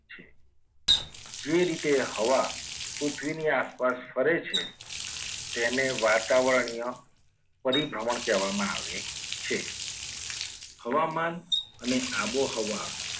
જે રીતે હવા પૃથ્વીની આસપાસ ફરે છે. તેને વાતાવરણીય પરિભ્રમણ કહેવામાં આવે છે હવામાન અને આબોહવા